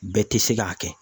Bɛɛ tɛ se k'a kɛ